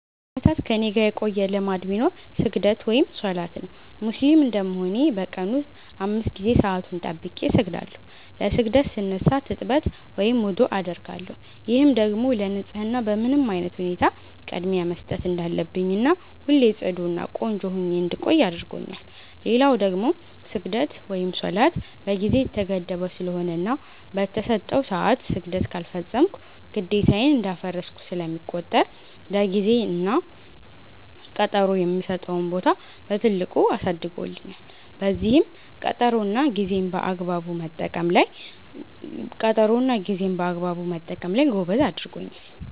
ለአመታት ከኔጋ የቆየ ልማድ ቢኖር ስግደት(ሰላት) ነው። ሙስሊም እንደመሆኔ በ ቀን ውስጥ 5 ጊዜ ሰአቱን ጠብቄ እሰግዳለው። ለ ስግደት ስነሳ ትጥበት(ውዱዕ) አደርጋለው፤ ይህም ደግሞ ለ ንፀህና በምንም አይነት ሁኔታ ቅድሚያ መስጠት እንዳለብኝና ሁሌ ፅዱ እና ቆንጆ ሁኜ እንድቆይ አድርጎኛል። ሌላው ደግሞ ስግደት(ሰላት) በ ጊዜ የተገደበ ስለሆነና በ ተሰጠው ሰዐት ስግደት ካልፈፀምኩ ግዴታዬን እንዳፈረስኩ ስለሚቆጠር ለ ጊዜ እና ቀጠሮ የምሰጠውን ቦታ በትልቁ አሳድጎልኛል፤ በዚህም ቀጠሮ እና ጌዜን በአግባቡ መጠቀም ላይ ጎበዝ አድርጎኛል።